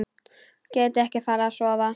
Gæti ekki farið að sofa.